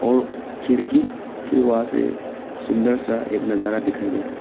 और खिड़की के वहां से सुंदर सा एक नजारा दिखाई दे रहा है।